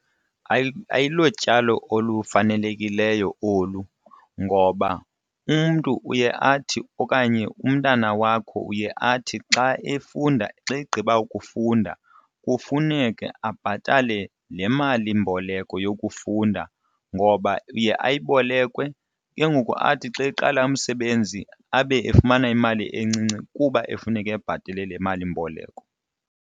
Ayilotyalo olufanelekileyo olu ngoba umntu uye athi okanye umntana wakho uye athi xa efunda, xa egqiba ukufunda kufuneke abhatale le malimboleko yokufunda, ngoba iye ayibolekwe, ke ngoku athi xa eqala umsebenzi abe efumana imali encinci kuba efuneka ebhatele le malimboleko.